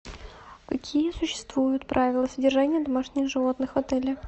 какие существуют правила содержания домашних животных в отеле